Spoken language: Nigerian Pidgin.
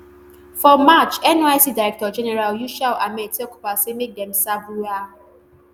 for march nysc directorgeneral yushau ahmed tell corpers say make dem serve wia